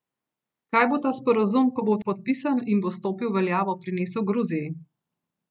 Kaj bo ta sporazum, ko bo podpisan in bo stopil v veljavo, prinesel Gruziji?